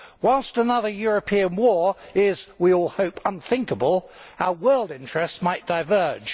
Whilst another European war is, we all hope, unthinkable, our world interests might diverge